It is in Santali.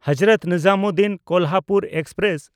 ᱦᱚᱡᱨᱚᱛ ᱱᱤᱡᱟᱢᱩᱫᱽᱫᱷᱤᱱ–ᱠᱳᱞᱦᱟᱯᱩᱨ ᱮᱠᱥᱯᱨᱮᱥ